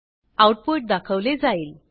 output दाखवले जाईल